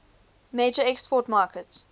major export market